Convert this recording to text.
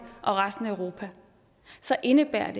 og resten af europa så indebærer en